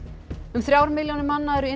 um þrjár milljónir manna eru